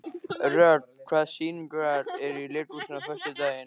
Rögn, hvaða sýningar eru í leikhúsinu á föstudaginn?